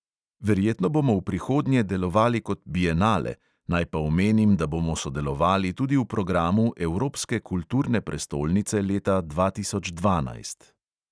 Verjetno bomo v prihodnje delovali kot bienale, naj pa omenim, da bomo sodelovali tudi v programu evropske kulturne prestolnice leta dva tisoč dvanajst.